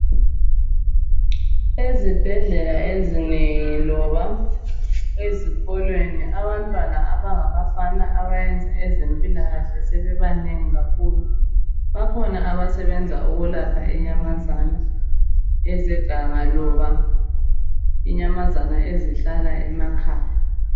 Ezibhedlela ezinengi loba ezikolweni abantwana abangabafana abayenza ezempilakahle sebebanengi kakhulu bakhona abasebenza ukulapha inyamazana ezeganga loba inyamazana ezihlala emakhaya